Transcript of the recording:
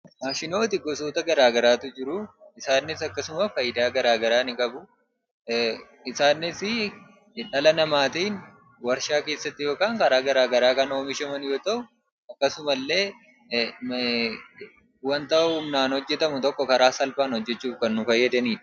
Maashinooti gosoota garaagaraatu jiruu. Isaanis akkasuma faayidaa garaagaraa ni qabu. Isaanisii dhala namaatiin warshaa keessatti yookaaan karaa garaagaraa kan oomishaman yoo ta'u, akkasuma illee wanta humnaan hojjetamu tokko karaa salphaan hojjechuuf kan nu fayyadanii dha.